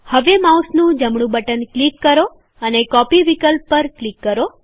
હવે માઉસનું જમણું બટન ક્લિક કરો અને કોપી વિકલ્પ પર ક્લિક કરો